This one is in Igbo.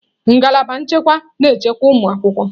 Ngalaba nchekwa na-echekwa ụmụ akwụkwọ.